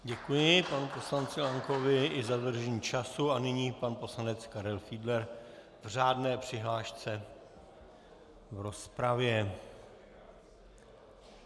Děkuji panu poslanci Lankovi i za dodržení času a nyní pan poslanec Karel Fiedler k řádné přihlášce v rozpravě.